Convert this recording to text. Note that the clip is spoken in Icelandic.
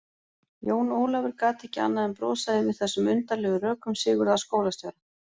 Jón Ólafur gat ekki annað en brosað yfir þessum undarlegu rökum Sigurðar skólastjóra.